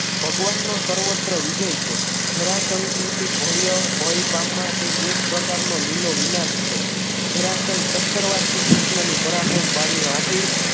ભગવાનનો સર્વત્ર વિજય છે જરાસંઘથી ભવ્ય ભય પામવા માટે એક પ્રકારનો લીલો વિનાશ છે જરાસંઘ સતર વાર શ્રી કૃષ્ણ થી પરાક્રમ પામ્યો આથી